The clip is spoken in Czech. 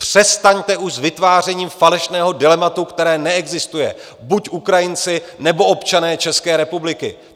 Přestaňte už s vytvářením falešného dilematu, které neexistuje: buď Ukrajinci, nebo občané České republiky!